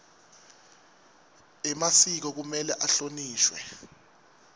emasiko kumele ahlonishwe